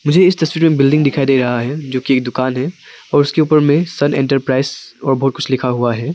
मुझे इस तस्वीर में बिल्डिंग दिखाई दे रहा है जो की दुकान है और उसके ऊपर में सन एंटरप्राइज और बहुत कुछ लिखा हुआ है।